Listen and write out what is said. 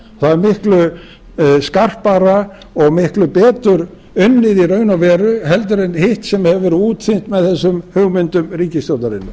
það er miklu skarpara og miklu betur unnið í raun og veru heldur en hitt sem hefur verið útþynnt með þessum hugmyndum ríkisstjórnarinnar